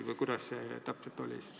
Või kuidas see täpselt on?